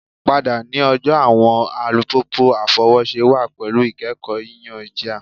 Pada ni ọjọ awọn alupupu afọwọṣe wa pẹlu ikẹkọ yiyan jia